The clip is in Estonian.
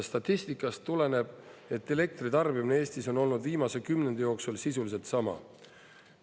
Statistikast tuleneb, et elektri tarbimine Eestis on olnud viimase kümnendi jooksul sisuliselt sama.